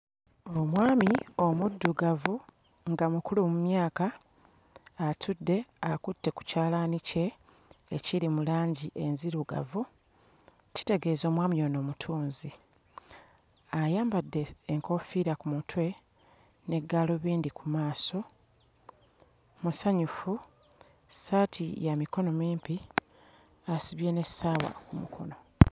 Omwami omuddugavu nga mukulu mu myaka atudde akutte ku kyalaani kye ekiri mu langi enzirugavu, kitegeeza omwami ono mutunzi. Ayambadde enkoofiira ku mutwe, ne gaalubindi ku maaso, musanyufu, essaati ya mikono mimpi, asibye n'essaawa ku mukono.